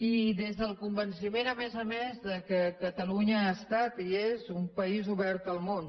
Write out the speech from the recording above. i des del convenciment a més a més que catalunya ha estat i és un país obert al món